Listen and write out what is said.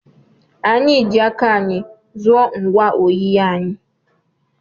Anyị ji aka anyị zụọ ngwa oyiyi anyị.